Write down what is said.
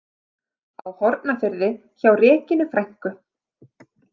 Á Hornafirði hjá Regínu frænku.